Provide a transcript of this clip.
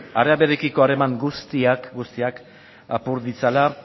arabiarekiko harreman guztiak guztiak apur ditzala